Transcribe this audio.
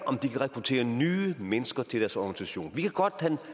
om de kan rekruttere nye mennesker til deres organisation vi kan